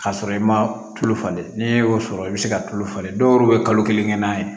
K'a sɔrɔ i ma tulu falen n'e y'o sɔrɔ i bɛ se ka tulu falen dɔw bɛ kalo kelen kɛ n'a ye